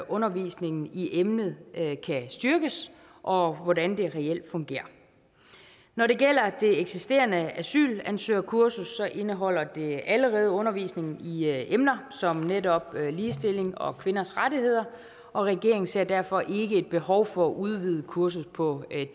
undervisningen i emnet kan styrkes og hvordan det reelt fungerer når det gælder det eksisterende asylansøgerkursus indeholder det allerede undervisning i emner som netop ligestilling og kvinders rettigheder og regeringen ser derfor ikke et behov for at udvide kurset på